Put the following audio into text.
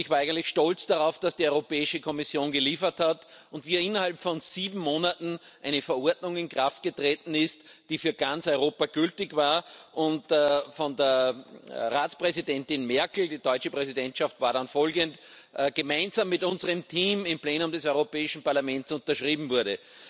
Und ich war eigentlich stolz darauf, dass die Europäische Kommission geliefert hat und dass innerhalb von sieben Monaten eine Verordnung in Kraft getreten ist, die für ganz Europa gültig war und die von der Ratspräsidentin Merkel die deutsche Präsidentschaft war dann folgend gemeinsam mit unserem Team im Plenum des Europäischen Parlaments unterschrieben wurde.